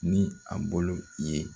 Ni a bolo ye